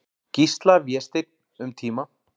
Gísla, Vésteinn, um tíma.